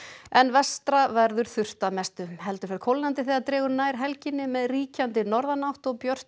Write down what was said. en vestra verður þurrt að mestu heldur fer kólnandi þegar dregur nær helginni með ríkjandi norðanátt og björtu